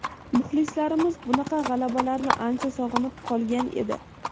Muxlislarimiz bunaqa g‘alabalarni ancha sog‘inib qolgan edi.